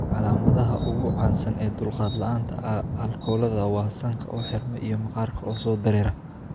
Calaamadaha iyo calaamadaha ugu caansan ee dulqaad la'aanta aalkolada waa sanka oo xirma iyo maqaarka oo soo dareera.